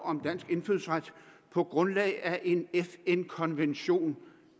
om dansk indfødsret på grundlag af en fn konvention